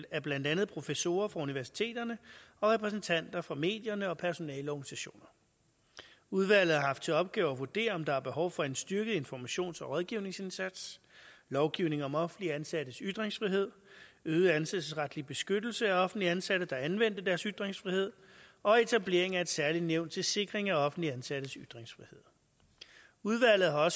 af blandt andet professorer fra universiteterne og repræsentanter fra medierne og personaleorganisationer udvalget har haft til opgave at vurdere om der er behov for en styrket informations og rådgivningsindsats lovgivning om offentligt ansattes ytringsfrihed øget ansættelsesretlig beskyttelse af offentligt ansatte der har anvendt deres ytringsfrihed og etablering af et særligt nævn til sikring af offentligt ansattes ytringsfrihed udvalget har